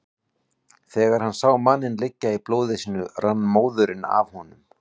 Þegar hann sá manninn liggja í blóði sínu rann móðurinn af honum.